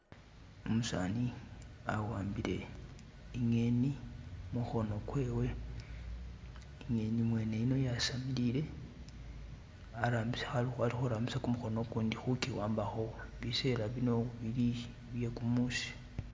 Umusani awambile inyeni mukono gwewe, inyeni mwene yuno yasamilile, a'likurambisa kumukono kundi kugiwambako, biseela bino bili byekumusi